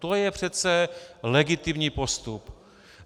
To je přece legitimní postup.